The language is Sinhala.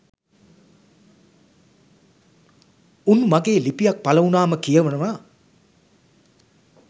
උන් මගේ ලිපියක් පළ වුණාම කියවනව